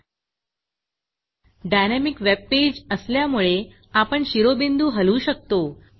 dynamic webpage असल्यामुळे आपण शिरोबिंदू हलवू शकतो